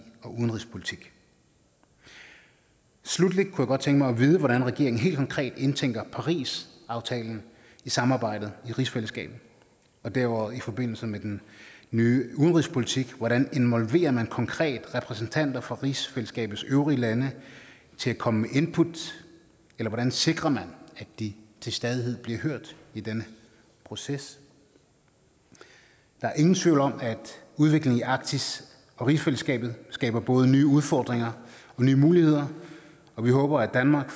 og udenrigspolitik sluttelig kunne jeg godt tænke mig at vide hvordan regeringen helt konkret indtænker parisaftalen i samarbejdet i rigsfællesskabet og derudover i forbindelse med den nye udenrigspolitik hvordan involverer man konkret repræsentanter for rigsfællesskabets øvrige lande til at komme med input eller hvordan sikrer man at de til stadighed bliver hørt i denne proces der er ingen tvivl om at udviklingen i arktis og rigsfællesskabet skaber både nye udfordringer og nye muligheder og vi håber at danmark